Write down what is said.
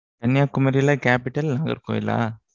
கன்னியாகுமரியிலே, capital நாகர்கோயிலா?